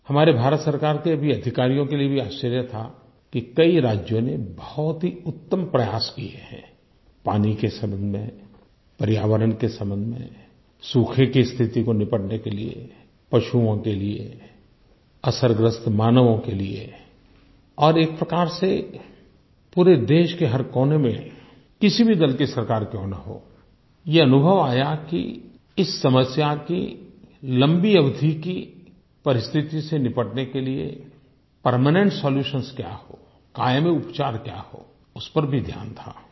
हमारे भारत सरकार के भी अधिकारियों के लिए भी आश्चर्य था कि कई राज्यों ने बहुत ही उत्तम प्रयास किये हैं पानी के संबंध में पर्यावरण के संबंध में सूखे की स्थिति को निपटने के लिये पशुओं के लिये असरग्रस्त मानवों के लिये और एक प्रकार से पूरे देश के हर कोने में किसी भी दल की सरकार क्यों न हो ये अनुभव आया कि इस समस्या की लम्बी अवधि की परिस्थिति से निपटने के लिए परमेनेंट सोल्यूशंस क्या हों कायमी उपचार क्या हो उस पर भी ध्यान था